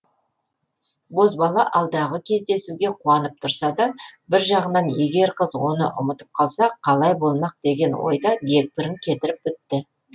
бозбала алдағы кездесуге қуанып тұрса да бір жағынан егер қыз оны ұмытып қалса қалай болмақ деген ой да дегбірін кетіріп бітті